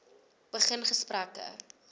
begin gesprekke